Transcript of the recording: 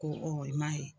Ko i m'a ye